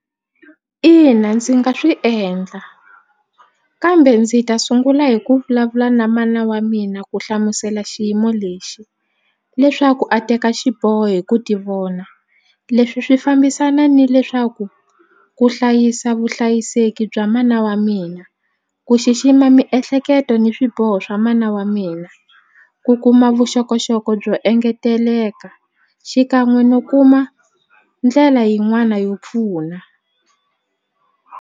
Ina ndzi nga swi endla kambe ndzi ta sungula hi ku vulavula na mana wa mina ku hlamusela xiyimo lexi leswaku a teka xiboho hi ku tivona leswi swi fambisana ni leswaku ku hlayisa vuhlayiseki bya mana wa mina ku xixima miehleketo ni swiboho swa mana wa mina ku kuma vuxokoxoko byo engeteleka xikan'we no kuma ndlela yin'wana yo pfuna.